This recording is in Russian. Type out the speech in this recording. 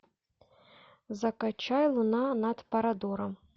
закачай луна над парадором